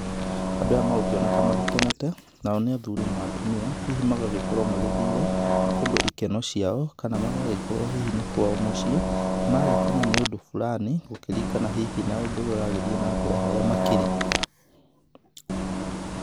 Andũ aya megũkĩoneka magĩkenete nao nĩ athuri na atumia, hihi magagikorwo magĩthire kũndu ikeno ciao kana magagikorwo hihi nĩ kwao mũciĩ. Magagikena nĩ ũndũ fulani gũkĩringana hihi na ũndũ ũrĩa ũragĩthiĩ na mbere harĩa makĩri.